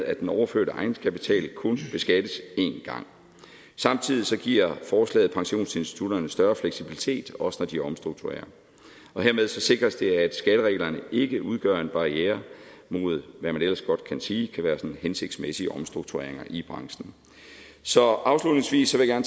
at den overførte egenkapital kun beskattes en gang og samtidig giver forslaget pensionsinstitutterne større fleksibilitet også når de omstrukturerer og hermed sikres det at skattereglerne ikke udgør en barriere mod hvad man ellers godt kan sige kan være hensigtsmæssige omstruktureringer i branchen så afslutningsvis vil jeg